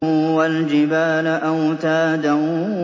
وَالْجِبَالَ أَوْتَادًا